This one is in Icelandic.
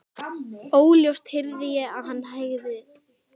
Óljóst heyrði ég að hann sagðist heita Viðar.